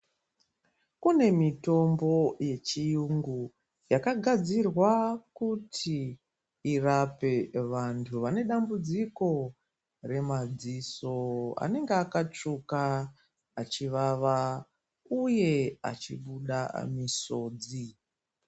Kune mitombo yechiyungu yakagadzirwa kuti irape vantu vanedambudziko remadziso anenge akatsvuka achivava uye achibuda misodzi.